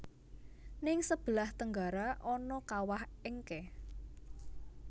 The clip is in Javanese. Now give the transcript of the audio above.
Ning sebelah tenggara ana kawah Encke